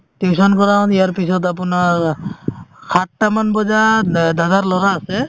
tuition কৰাও ইয়াৰ পিছত আপোনাৰ আ সাতটা মান বজাত দাদাৰ লৰা আছে